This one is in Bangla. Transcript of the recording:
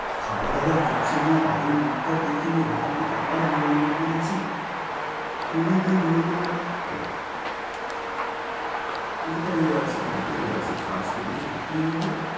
খাওয়া-দাওয়া কিচ্ছু না, বাড়ির মুখটা দেখি নি এখান থেকে আবার মাল load করেছি। কুড়ি দিন হলো ওটাই আছে, ওটাই আছে, কাজ পেলে তো করতেই হবে।